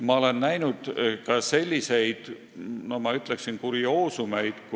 Ma olen näinud ka selliseid, ma ütleksin, kurioosumeid.